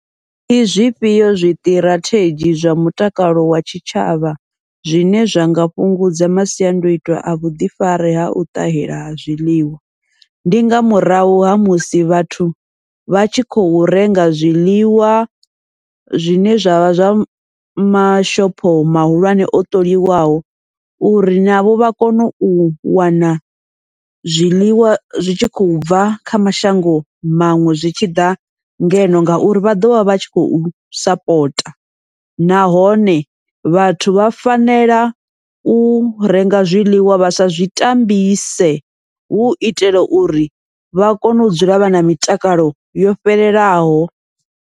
Ndi zwifhio zwiṱirathedzhi zwa mutakalo wa tshitshavha zwine zwa nga fhungudza masiandaitwa a vhuḓifari hau ṱahela ha zwiḽiwa, ndi nga murahu ha musi vhathu vha tshi khou renga zwiḽiwa zwine zwa vha zwa mashopho mahulwane o ṱoholiwaho, uri navho vha kone u wana zwiḽiwa zwi tshi khou bva kha mashango maṅwe zwi tshi ḓa ngeno. Ngauri vha ḓovha vha tshi khou sapota, nahone vhathu vha fanela u renga zwiḽiwa vha sa zwi tambise, hu uitela uri vha kone u dzula vha na mitakalo yo fhelelaho.